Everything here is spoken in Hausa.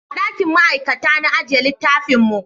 A dakin ma'aikata na ajiye littafin mu